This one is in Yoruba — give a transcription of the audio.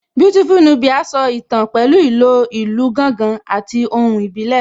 Beautiful Nubia so ìtàn pẹ̀lú ìlò ìlù gángan àti ohùn ìbílẹ̀